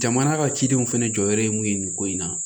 Jamana ka cidenw fana jɔyɔrɔ ye mun ye nin ko in na